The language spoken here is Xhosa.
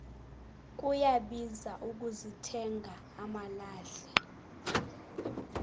kuyabiza ukuzithenga amalahle